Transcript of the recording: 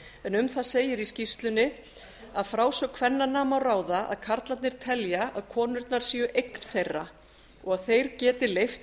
en um það segir í skýrslunni af frásögn kvennanna má ráða að karlarnir telja að konurnar séu eign þeirra og þeir geti leyft